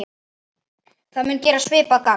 Það mun gera svipað gagn.